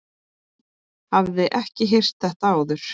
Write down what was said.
Hafði ekki heyrt þetta áður.